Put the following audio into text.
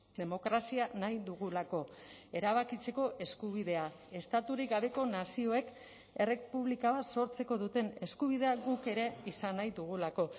demokrazia nahi dugulako erabakitzeko eskubidea estaturik gabeko nazioek errepublika bat sortzeko duten eskubidea guk ere izan nahi dugulako